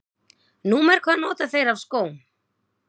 Númer hvað nota þeir af skóm?